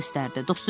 Tom göstərdi.